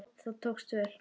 Það tókst vel.